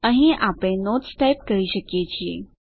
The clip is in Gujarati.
અહીં આપને નોટ્સ ટાઈપ કરી શકીએ છીએ